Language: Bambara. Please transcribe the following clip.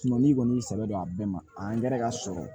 Sunɔgɔ ni kɔni sɛbɛ do a bɛɛ ma angɛrɛ ka sɔrɔ